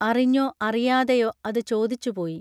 അറിഞ്ഞോ അറിയാതെയോ അത് ചോദിച്ചു പോയി